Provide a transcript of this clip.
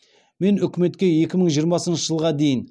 мен үкіметке екі мың жиырмасыншы жылға дейін